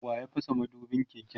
waya fasa madubin keken?